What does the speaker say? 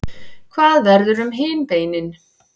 hvað verður um hin beinin